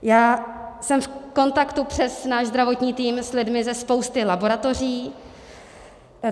Já jsem v kontaktu přes náš zdravotní tým s lidmi ze spousty laboratoří.